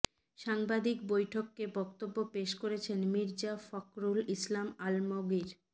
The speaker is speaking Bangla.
সাংবাদিক বৈঠকে বক্তব্য পেশ করছেন মির্জা ফখরুল ইসলাম আলমগির